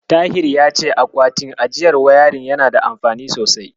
Tahir ya ce akwatin ajiyar wayarin yana da amfani sosai.